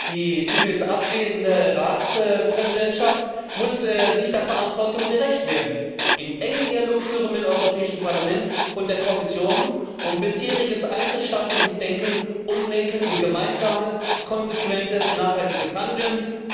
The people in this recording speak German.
Die übrigens abwesende Ratspräsidentschaft muss der Verantwortung gerecht werden, einen engen Dialog führen mit dem Europäischen Parlament und der Kommission und bisheriges einzelstaatliches Denken umlenken in gemeinsames, konsequentes, nachhaltiges Handeln.